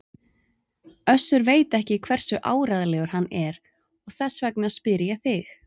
Össur og veit ekki hversu áreiðanlegur hann er og þess vegna spyr ég þig.